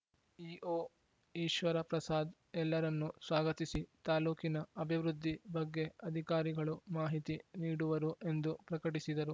EO Eshwarprasad ಎಲ್ಲರನ್ನೂ ಸ್ವಾಗತಿಸಿ ತಾಲೂಕಿನ ಅಭಿವೃದ್ಧಿ ಬಗ್ಗೆ ಅಧಿಕಾರಿಗಳು ಮಾಹಿತಿ ನೀಡುವರು ಎಂದು ಪ್ರಕಟಿಸಿದರು